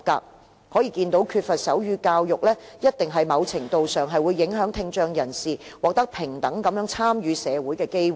由此可見，缺乏手語教育在某程度上，肯定會影響聽障人士獲得參與社會的平等機會。